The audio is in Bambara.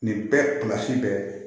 Nin bɛɛ kilasi bɛɛ